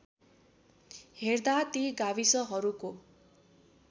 हेर्दा ती गाविसहरूको